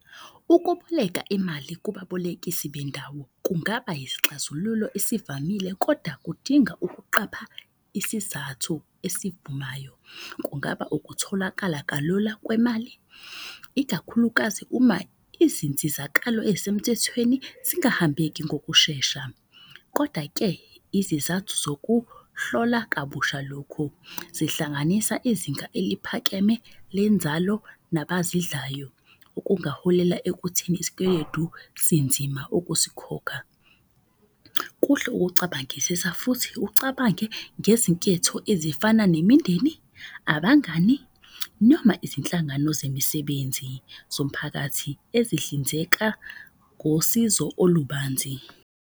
Ukuboleka imali kubabolekisi bendawo kungaba yisixazululo ezivamile koda kudinga ukuqapha isizathu esivumayo. Kungaba ukutholakala kalula kwemali, ikakhulukazi uma izinsizakalo ezisemthethweni zingahambeki ngokushesha. Koda-ke izizathu zokuhlola kabusha lokhu zihlanganisa izinga eliphakeme lenzalo nabazidlayo. Okungaholela ekutheni isikweledu sinzima ukusikhokha. Kuhle ukucabangisisa futhi ucabange ngezinketho ezifana nemindeni, abangani. Noma izinhlangano zemisebenzi, zomphakathi ezihlinzeka ngosizo olubanzi.